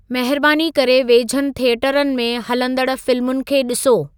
महिरबानी करे वेझनि थिएटरनि में हलंदड़ फ़िलमुनि खे ॾिसो